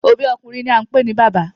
Obi okunrin ni a npe ni baba